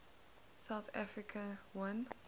south africa won